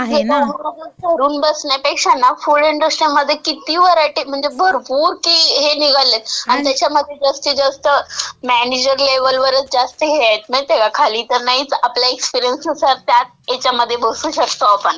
आणि डॉमिनोज धरून बसण्यापेक्षा ना, फूड इंडस्ट्रीमध्ये किती व्हरायटी म्हणजे भरपूर किती हे निघालेत, आणि त्याच्यामागे जास्तीत जास्त मॅनेजर लेवलवरच जास्तीत जास्त हे आहेत माहितीय का, खाली तर नाहीच, आपल्या एक्सपिरीयन्स नुसार त्याच ह्याच्यामध्ये बसू शकतो आपण.